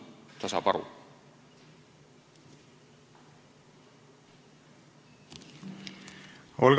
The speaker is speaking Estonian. Olga Ivanova, palun!